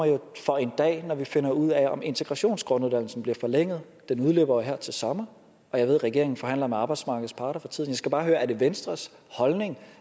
jo for en dag når vi finder ud af om integrationsgrunduddannelsen bliver forlænget den udløber jo her til sommer og jeg ved at regeringen forhandler med arbejdsmarkedets parter for tiden jeg skal bare høre er det venstres holdning